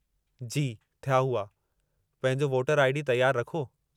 जी, थिया हुआ। पंहिंजो वोटर आई.डी. तयारु रखो।